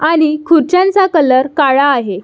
आणि खुर्च्यांचा कलर काळा आहे.